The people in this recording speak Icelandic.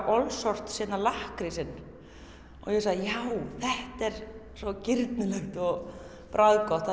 lakkrísinn og ég hugsaði já þetta er svo girnilegt og bragðgott